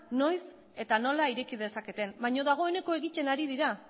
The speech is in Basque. noiz eta nola ireki dezaketen baina dagoeneko egiten ari dira